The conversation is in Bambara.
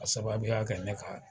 K'a sababuya kɛ ne kan